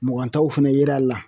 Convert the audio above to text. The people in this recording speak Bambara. Mugan taw fɛnɛ yer'a la